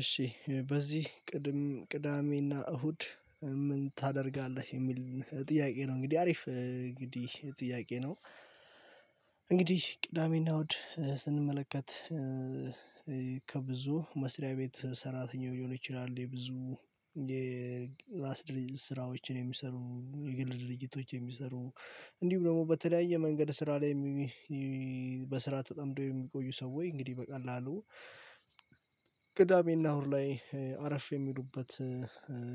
እሺ በዚህ ቅድም ቅዳሜና እሁድ ምን ታደርጋለህ? የሚል ጥያቄ ነው እንግዲህ አሪፍ እንግዲህ ጥያቄ ነው። እንግዲህ ቅዳሜና እሁድ ስንመለከት ከብዙ መስሪያ ቤት ሰራተኛው ሊሆን ይችላል። የብዙ የራስ ድርጅት ስራዎችን የሚሰሩ የግል ድርጅቶች የሚሰሩ እንዲሁም ደግሞ በተለያየ መንገድ ስራ ላይ በስራ ተጠምዶ የሚቆዩ ሰዎች እንግዲህ በቀላሉ ቅዳሜና እሁድ ላይ አረፍ የሚሉበት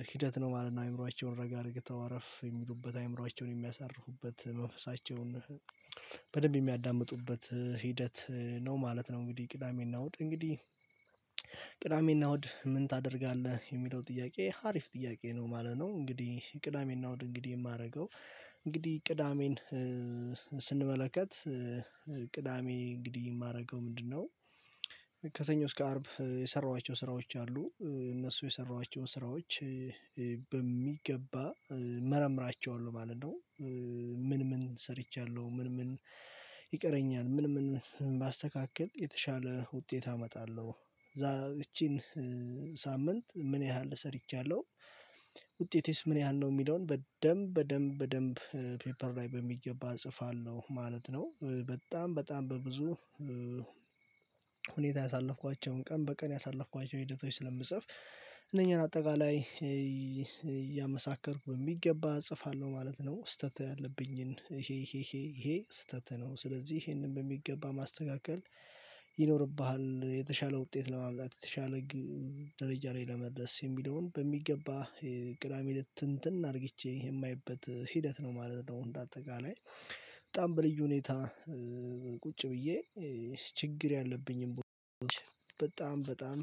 ሂደት ነው ማለት ነው። አእምሮአቸውን ረጋ አርግተው አረረፍ የሚሉበት አይምሯቸውን የሚያሳርፉበት መንፈሳቸውን በደንብ የሚያዳምጡበት ሂደት ነው ማለት ነው። እንግዲህ ቅዳሜና እሁድ እንግዲህ ቅዳሜና እሁድ ምን ታደርጋለህ የሚለው ጥያቄ ሀሪፍ ጥያቄ ነው ማለት ነው። እንግዲህ ቅዳሜና ወደ እንግዲህ የማደርገው እንግዲህ ቅዳሜን ስንመለከት ቅዳሜ እንግዲህ የማደርገው ምንድነው ከሰኞ እስከ አርብ የሰራኋቸው ስራዎች አሉ እነሱ የሰራኋቸው ስራዎች በሚገባ መረምራቸዋለሁ ማለት ነው። ምን? ምን ሰርቻለሁ? ምን ምን ይቀረኛል? ምን ምን ባስተካክል የተሻለ ውጤት አመጣለሁ። እቺን ሳምንት ምን ያህል ሰርቻለሁ ውጤቴስ ምን ያህል ነው የሚለውን በደንብ በደንብ በደንብ ፔፐር ላይ በሚገባ እጽፋለሁ ማለት ነው። በጣም በጣም በብዙ ብዙ ሁኔታ ያሳለፍኳቸውን ቀን በቀን ያሳለፍኳቸውን ሂደቶች ስለምጽፍ እነኚህን አጠቃላይ እያመሳከርኩ በሚገባ እጽፋለሁ ማለት ነው ስህተት ያለብኝን ይሄ ይሄ ይሄ ስህተት ነው። ስለዚህ ይሄንን በሚገባ ማስተካከል ይኖርብሃል የተሻለ ውጤት ለማምጣት የተሻለ ደረጃ ላይ ለመድረስ የሚለውን በሚገባ ቅዳሜን ትንትን አርግቼ የማየበት ሂደት ነው ማለት ነው። እንደ አጠቃላይ በጣም በልዩ ሁኔታ ቁጭ ብዬ ችግር ያለብኝን ቦታዎች በጣም በጣም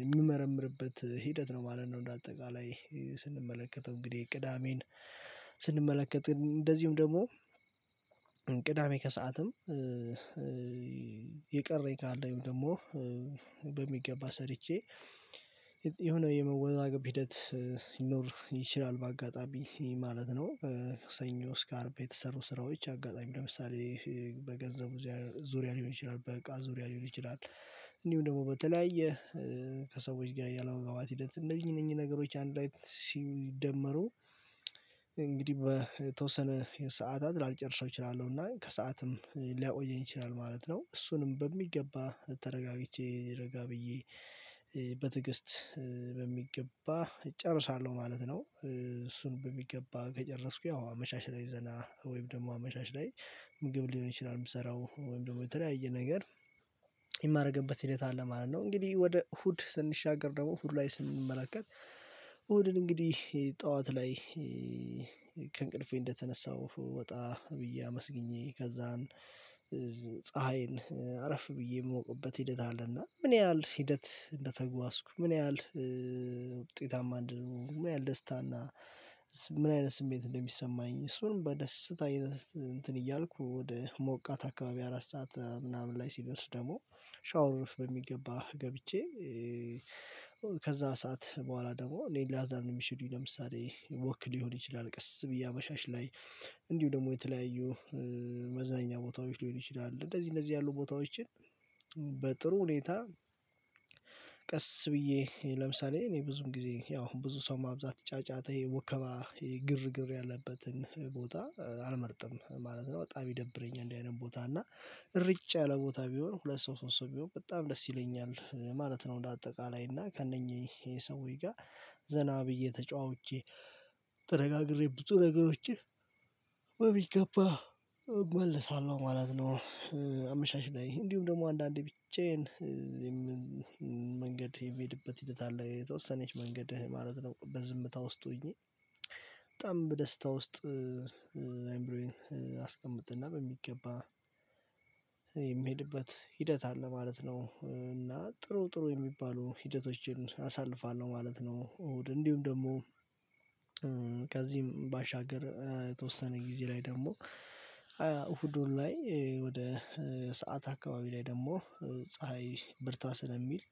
የምመረምርበት ሂደት ነው ማለት ነው እንደ አጠቃላይ ስንመለከተው እንግዲህ ቅዳሜን ስንመለከት እንደዚሁም ደግሞ ቅዳሜ ከሰአትም የቀረኝ ካለኝ ደግሞ በሚገባ ሰርቼ የሆነ የመወዛገብ ሂደት ይኖር ይችላል በአጋጣሚ ማለት ነው ሰኞ ስካርብ የተሰሩ ስራዎች አጋጣሚ ለምሳሌ በገንዘቡ ዙሪያ ሊሆን ይችላል በቃ ዙሪያ ሊሆን ይችላል እንዲሁም ደግሞ በተለያየ ከሰዎች ጋር ያላወጋውት ሂደት እነኚህ እነኚህ ነገሮች አንድ ላይ ሲደመሩ እንግዲህ በተወሰነ ሰዓታት ላልጨርሰው እችላለሁ እና ከሰአትም ሊያቆየኝ ይችላል ማለት ነው እሱንም በሚገባ ተረጋግቼ ረጋ ብዬ በትዕግስት በሚገባ እጨርሳለሁ ማለት ነው። እሱን በሚገባ ከጨረስኩ ያው አመሻሽ ላይ ዘና ወይም ደግሞ አመሻሽ ላይ ምግብ ሊሆን ይችላል የምሰራው ወይም ደግሞ የተለያየ ነገር የማደርግበት ሂደት አለ ማለት ነው። እንግዲህ ወደ እሁድ ስንሻገር ደግሞ እሁድ ላይ ስንመለከት እሁድን እንግዲህ ጠዋት ላይ ከእንቅልፌ እንደተነሳው ወጣ ብዬ አመስግኜ ከዛን ፀሀይን አረፍ ብዬ የምሞቀበት ሂደት አለና ምን ያህል ሂደት እንደተጓዝኩ ምን ያህል ውጤታማ እንደሆነ ምን ያህል ደስታና ምን አይነት ስሜት እንደሚሰማኝ እሱን በደስታ እንትን እያልኩ ወደ ሞቃት አካባቢ አራት ሰዓት ምናምን ላይ ሲደርስ ደግሞ ሻወር ውስጥ በሚገባ ገብቼ ከዛ ሰዓት በኋላ ደግሞ ሌላ ላዛርን የሚሸዱኝ ለምሳሌ ወክ ሊሆን ይችላል ቀስ ብዬ አመሻሽ ላይ እንዲሁ ደግሞ የተለያዩ መዝናኛ ቦታዎች ሊሆን ይችላል እንደዚህ እንደዚህ ያሉ ቦታዎችን በጥሩ ሁኔታ ቀስ ብዬ ለምሳሌ እኔ ብዙም ጊዜ ያው ብዙ ሰው ማብዛት ጫጫታ ይሄ ወከባ ይሄ ግርግር ያለበትን ቦታ አልመርጥም ማለት ነው። በጣም ይደብረኝ እንደዚህ አይነት ቦታ እና ርጭ ያለ ቦታ ቢሆን ሁለት ሰው ሶስት ሰው ቢሆን በጣም ደስ ይለኛል ማለት ነው። እንደ አጠቃላይ እና ከእነኚህ ይሄ ሰውዬ ጋር ዘና ብዬ ተጨዋውቼ ተነጋግሬ ብዙ ነገሮችን በቢገባ እመለሳለሁ ማለት ነው። አመሻሽ ላይ እንዲሁም ደግሞ አንዳንዴ ብቻዬን መንገድ የሚሄድበት ሂደት አለ። የተወሰነች መንገድህ ማለት ነው በዝምታ ውስጥ ሆኜ በጣም በደስታ ውስጥ ላይምሮዬ አስቀምጥና በሚገባ የምሄድበት ሂደት አለ ማለት ነው። እና ጥሩ ጥሩ የሚባሉ ሂደቶችን አሳልፋለው። ማለት ነው። እሁድ እንዲሁም ደግሞ ከዚህም ባሻገር የተወሰነ ጊዜ ላይ ደግሞ እሁዱን ላይ ወደ ሰዓት አካባቢ ላይ ደግሞ ፀሀይ በርታ ስለሚል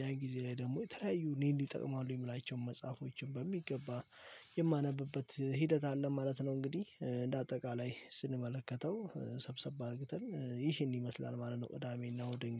ያን ጊዜ ላይ ደግሞ የተለያዩ እኔን ይጠቅማሉ የምላቸውን መጽሐፎችን በሚገባ የማነብበት ሂደት አለ ማለት ነው እንግዲህ እንደ አጠቃላይ ስንመለከተው ሰብሰብ አርግተን ይህን ይመስላል ማለት ነው እዳሜና ወደ እንግዲህ